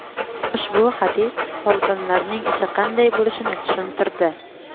Ushbu hadis folbinlarning ishi qanday bo‘lishini tushuntirdi.